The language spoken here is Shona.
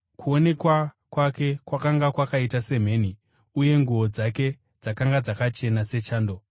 Kuonekwa kwake kwakanga kwakaita semheni uye nguo dzake dzakanga dzakachena sechando.